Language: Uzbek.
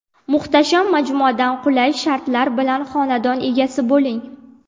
Muhtasham majmuadan qulay shartlar bilan xonadon egasi bo‘ling.